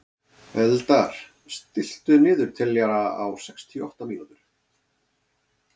Eldar, stilltu niðurteljara á sextíu og átta mínútur.